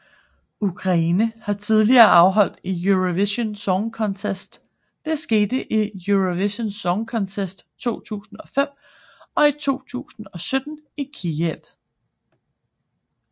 Ukraine har tidligere afholdt Eurovision Song Contest det skete i Eurovision Song Contest 2005 og i 2017 i Kyiv